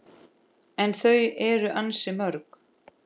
En þau eru ansi mörg